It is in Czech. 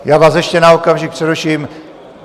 Já vás ještě na okamžik přeruším.